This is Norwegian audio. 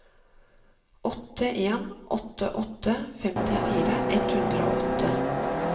åtte en åtte åtte femtifire ett hundre og åtte